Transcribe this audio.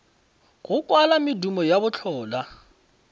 go kwala medumo ya bohlola